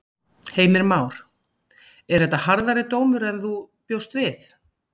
Heimir Már: Er þetta harðari dómur heldur en þú bjóst við?